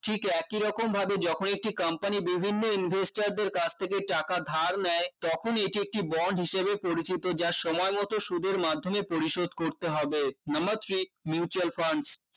ঠিক একইরকমভাবে যখন একটি company বিভিন্ন investor দের কাছ থেকে টাকা ধার নেয় তখন এটি একটি bond হিসেবে পরিচিত যা সময়মতো সুদের মাধ্যমে পরিশোধ করতে হবে number three mutual funds